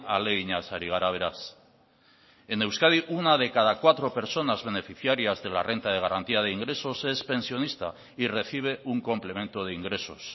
ahaleginaz ari gara beraz en euskadi una de cada cuatro personas beneficiarias de la renta de garantía de ingresos es pensionista y recibe un complemento de ingresos